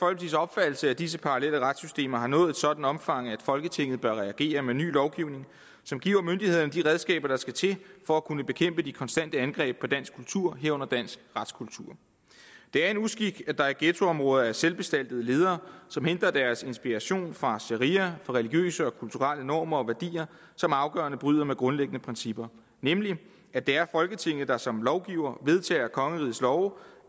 opfattelse at disse parallelle retssystemer har nået et sådant omfang at folketinget bør reagere med ny lovgivning som giver myndighederne de redskaber der skal til for at kunne bekæmpe de konstante angreb på dansk kultur herunder dansk retskultur det er en uskik at der i ghettoområder er selvbestaltede ledere som henter deres inspiration fra sharia fra religiøse og kulturelle normer og værdier som afgørende bryder med grundlæggende principper nemlig at det er folketinget der som lovgiver vedtager kongerigets love og